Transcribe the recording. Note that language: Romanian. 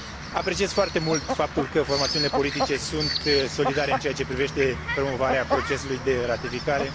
Apreciez foarte mult faptul că formațiunile politice sunt solidare în ceea ce privește promovarea procesului de ratificare.